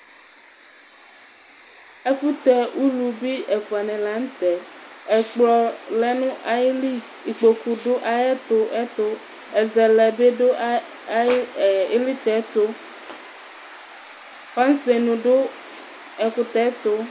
Ɛfʋtɛ ulu bi lanʋtɛ, ɛkplɔ lɛnʋ ayili, kpokʋ dʋ ayʋ ɛtʋ, ɛzɛlɛ bi dʋ ayʋ ilitsɛ ɛtʋ fasenʋ dʋ ɛkʋtɛtʋ